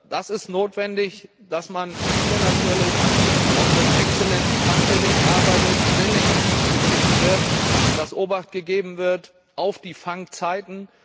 Es ist notwendig, dass man hier natürlich auch mit exzellentem Fanggerät arbeitet, selektiv gefischt wird, dass Obacht gegeben wird auf die Fangzeiten.